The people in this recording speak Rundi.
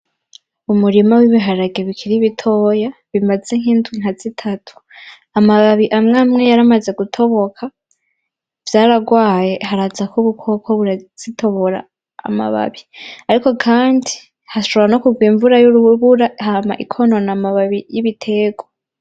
Umurima w'ibiharage bikiri bitoya bimaze nkindwi nkazitatu amababi amwamwe yaramaze gutoboka vyararwaye harazako ubukoko burazitobora amababi ariko kandi hashobora nokurwa imvura yurubura hama ikonona amababi yibiterwa .